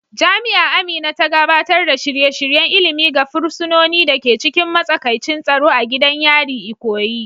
Jami'a Amina ta gabatar da shirye-shiryen ilimi ga fursunonin da ke cikin matsakaicin tsaro a gidan yari, Ikoyi.